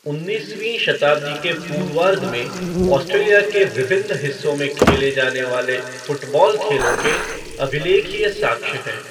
उन्नीसवीं शताब्दी के पूर्वार्द्ध में ऑस्ट्रेलिया के विभिन्न हिस्सों में खेले जाने वाले 'फ़ुटबॉल' खेलों के अभिलेखीय साक्ष्य हैं।